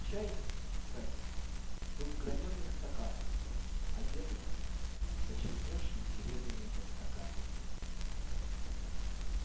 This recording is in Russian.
чай кстати был в гранёных стаканах одетых в почерневшие серебряные подстаканники